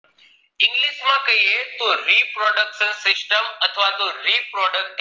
English માં કહીએ તો reproduction system અથવા reproduct